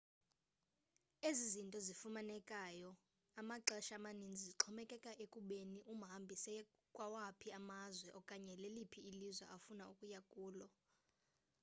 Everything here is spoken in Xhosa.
ezi zinto zifunekayo amaxesha amaninzi zixhomekeka ekubeni umhambi seye kwawaphi amazwe okanye leliphi ilizwe afuna ukuya kulo